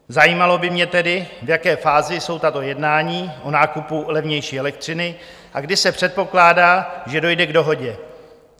Zajímalo by mě tedy, v jaké fázi jsou tato jednání o nákupu levnější elektřiny a kdy se předpokládá, že dojde k dohodě?